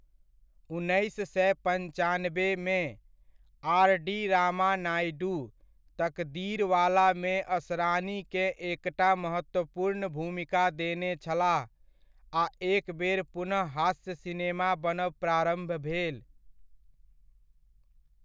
उन्नैस सए पन्चानबेमे, आर.डी.रामानायडू 'तकदीरवाला'मे असरानीकेँ एकटा महत्वपूर्ण भूमिका देने छलाह आ एकबेर पुनः हास्य सिनेमा बनब प्रारम्भ भेल।